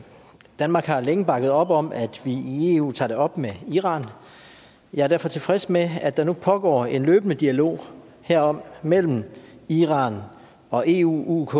danmark har længe bakket op om at vi i eu tager det op med iran jeg er derfor tilfreds med at der nu pågår en løbende dialog herom mellem iran og eu uk